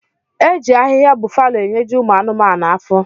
Eji ahiha bufalo enyeji ụmụ anuma afọ.